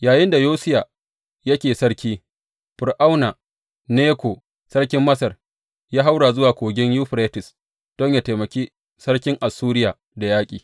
Yayinda Yosiya yake sarki, Fir’auna Neko, sarkin Masar ya haura zuwa Kogin Yuferites don yă taimaki sarkin Assuriya da yaƙi.